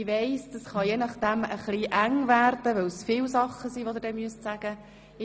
Ich weiss, das kann möglicherweise etwas eng werden, weil Sie dann viele Dinge sagen müssen.